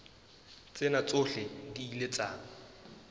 tsena tsohle di ile tsa